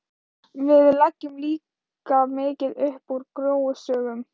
Við leggjum líka mikið upp úr gróusögum.